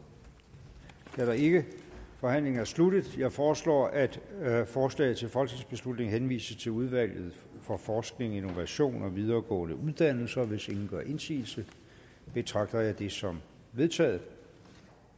det er der ikke forhandlingen er sluttet jeg foreslår at forslaget til folketingsbeslutning henvises til udvalget for forskning innovation og videregående uddannelser hvis ingen gør indsigelse betragter jeg det som vedtaget